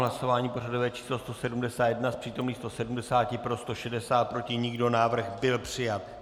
Hlasování pořadové číslo 171, z přítomných 170 pro 160, proti nikdo, návrh byl přijat.